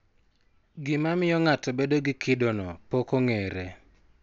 Gima miyo ng'ato bedo gi kidono pok ong'ere.